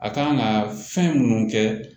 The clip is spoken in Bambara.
A kan ka fɛn munnu kɛ